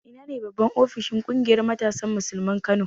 Ina ne babban ofishin ƙungiyar matasan Musulmin Kano?